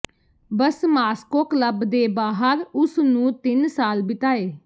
ਬਸ Moscow club ਦੇ ਬਾਹਰ ਉਸ ਨੂੰ ਤਿੰਨ ਸਾਲ ਬਿਤਾਏ